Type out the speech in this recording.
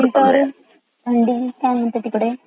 बरं थंडी काय म्हणते तिकडे